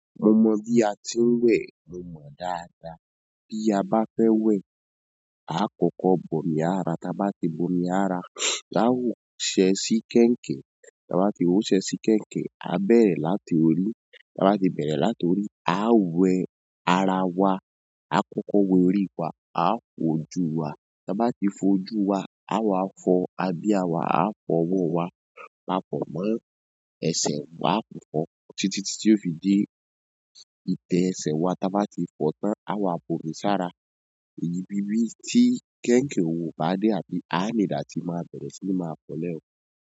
Mo mọ bí a ti ń wẹ̀, mó mọ dáadáa. Bí a bá fẹ́ wẹ̀, a kọ́kọ́ bomí ara, tá bá ti bomi ara, aa wo ṣẹ́ sí kẹ̀ǹkẹ̀, tá bá ti wo ṣẹ́ sí kẹ̀ǹkẹ̀, a bẹ̀rẹ̀ láti orí, tá bá ti bẹ̀rẹ̀ láti orí, a wẹ ara wa, a kọ́kọ́ wẹ orí wa, a fojú wa, tá bá ti fojú wa, a wá fọ abíá wa, a fọ ọwọ́ wa, a fọ mọ́ ẹsẹ̀, wà fọ̀ ọ, títí tí ó fi dé ìtẹ́ ẹsẹ̀ wa, tá bá ti fọ tán, a wá bo ní sára. Èyí ni bíbí tí kẹ̀ǹkẹ kò bá dé àbí a need là tí máa bẹ̀rẹ̀ sí máa fọlẹ̀ ẹ́.